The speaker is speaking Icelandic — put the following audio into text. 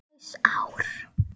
Líflaus ár.